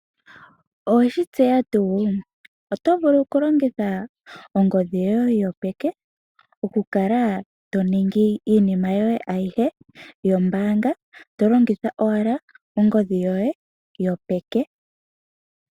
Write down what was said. Oweshi tseya tu, otovulu kulongitha ongodhi yoye yopeke okukala toningi iinima yoye ayihe yombanga tolongitha owala ongodhi yoye yopeke.